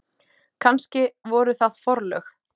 Kannski voru það forlög.